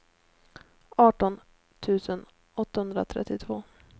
arton tusen åttahundratrettiotvå